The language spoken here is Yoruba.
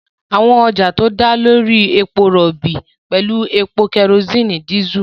Àwọn ọjà tó dá lórí epo rọ̀bì pẹ̀lú epo, kerosene, dísẹ́ẹ̀lì.